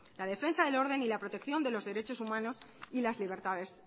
la defensa del orden y la protección de los derechos humanos y las libertades